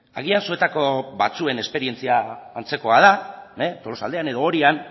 agian zuetako batzuen esperientzia antzekoa da tolosaldean edo orian